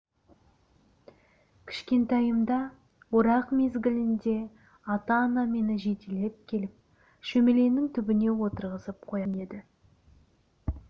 кішкентайымда орақ мезгілінде ата-анам мені жетелеп келіп шөмеленің түбіне отырғызып қоятын еді